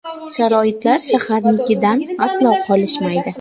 Sharoitlar shaharnikidan aslo qolishmaydi.